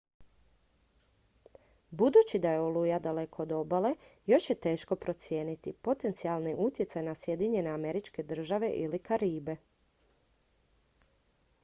budući da je oluja daleko od obale još je teško procijeniti potencijalni utjecaj na sjedinjene američke države ili karibe